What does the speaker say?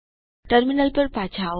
terminal ઉપર પાછા આવો